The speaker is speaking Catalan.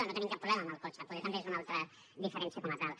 no hi tenim cap problema amb el cotxe poder també és una altra diferència com a tal